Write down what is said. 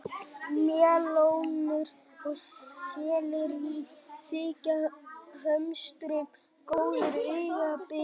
Melónur og sellerí þykja hömstrum góðir aukabitar.